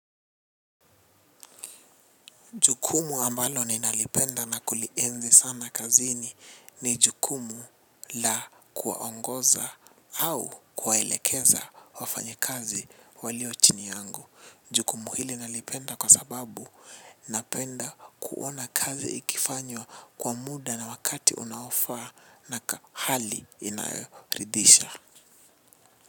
Jukumu ambalo ninalipenda na kulienzi sana kazini ni jukumu la kuwaongoza au kuwaelekeza wafanyikazi walio chini yangu. Jukumu hili nalipenda kwa sababu napenda kuona kazi ikifanywa kwa muda na wakati unaofaa na kwa hali inayoridisha.